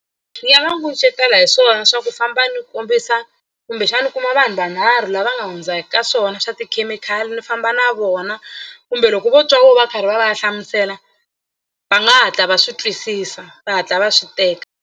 Ni nga va kucetela hi swona swa ku famba ni kombisa kumbexana ni kuma vanhu vanharhu lava nga hundzaka ka swona swa tikhemikhali ni famba na vona kumbe loko vo twa voho va karhi va va ya hlamusela va nga hatla va swi twisisa va hatla va swi teka.